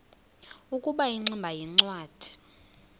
ukuba ingximba yincwadi